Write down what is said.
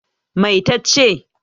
Mai ta ce?